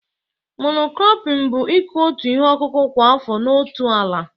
Mono kropịñ bụ ikụ otu ihe ọkụkụ kwa afọ n'otu ala